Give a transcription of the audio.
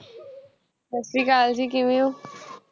ਸਤਿ ਸ੍ਰੀ ਅਕਾਲ ਜੀ ਕਿਵੇਂ ਹੋ